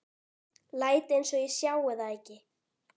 Læt einsog ég sjái það ekki.